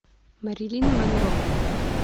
мэрилин монро